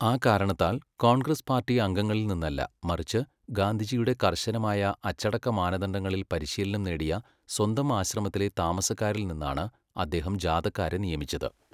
ആ കാരണത്താൽ കോൺഗ്രസ് പാർട്ടി അംഗങ്ങളിൽ നിന്നല്ല, മറിച്ച് ഗാന്ധിജിയുടെ കർശനമായ അച്ചടക്ക മാനദണ്ഡങ്ങളിൽ പരിശീലനം നേടിയ സ്വന്തം ആശ്രമത്തിലെ താമസക്കാരിൽ നിന്നാണ് അദ്ദേഹം ജാഥക്കാരെ നിയമിച്ചത്.